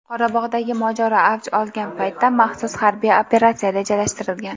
Qorabog‘dagi mojaro avj olgan paytda maxsus harbiy operatsiya rejalashtirilgan.